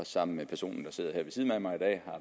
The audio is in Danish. sammen med personen der sidder her ved siden af mig i dag